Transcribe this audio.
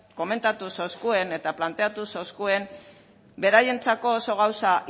komentatu zeuskuen eta planteatu zeuskuen beraientzako oso gauza